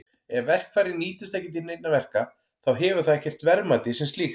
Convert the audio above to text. Ef verkfærið nýtist ekki til neinna verka þá hefur það ekkert verðmæti sem slíkt.